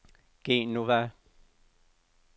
Genova